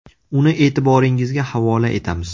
Uni e’tiboringizga havola etamiz.